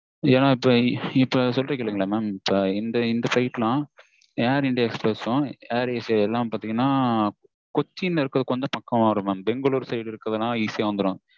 ஏன்னா இப்போ சொல்ற கேளுங்க mam air india express air asia கொச்சின்ல இருக்கிறது பக்கத்தில் வரும் பெங்களூர் side இருந்துனா easy ஆ வந்துரும்.